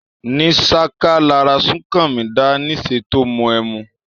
Ní sáká lara súnkanmí dáá níse tó mu ẹmu.